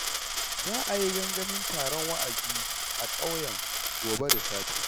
Za a yi gangamin taron wa'azi a ƙauyen gobe da safe